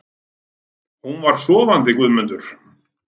Hún var sofandi Guðmundur.